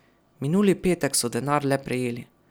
Minuli petek so denar le prejeli.